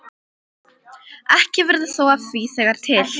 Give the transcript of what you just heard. Ekki verður þó af því þegar til